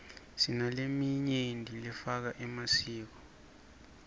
sinaleminy lefaka emasiko